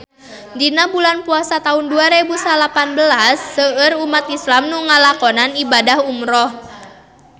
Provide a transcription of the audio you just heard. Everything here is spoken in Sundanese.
Dina bulan Puasa taun dua rebu salapan belas seueur umat islam nu ngalakonan ibadah umrah